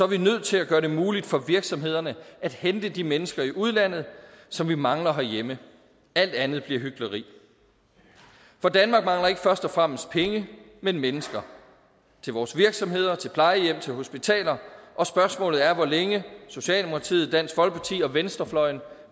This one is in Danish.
vi nødt til at gøre det muligt for virksomhederne at hente de mennesker i udlandet som vi mangler herhjemme alt andet bliver hykleri for danmark mangler ikke først og fremmest penge men mennesker til vores virksomheder til plejehjem til hospitaler og spørgsmålet er hvor længe socialdemokratiet dansk folkeparti og venstrefløjen